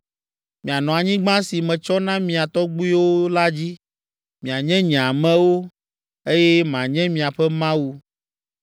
Mianɔ anyigba si metsɔ na mia tɔgbuiwo la dzi; mianye nye amewo, eye manye miaƒe Mawu.